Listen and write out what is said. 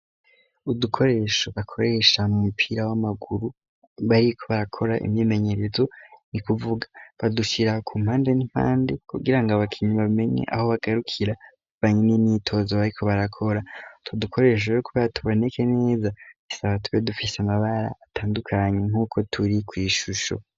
Udukoresho bakoresha mu mupira w'amaguru bariko barakora imyemenyerezo ni kuvuga badushira ku mpande n'impande kugira ngo abakinyi bamenye aho bagarukira bamenye nimyitozo bariko barakora utwo dukoresho kuba tuboneke neza bisaba tube dufise amabara atandukanye nk'uko turi ku ishusho.